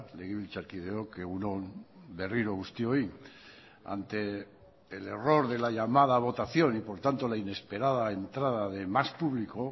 legebiltzarkideok egun on berriro guztioi ante el error de la llamada votación y por tanto la inesperada entrada de más público